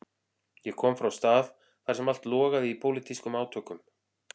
Ég kom frá stað þar sem allt logaði í pólitískum átökum.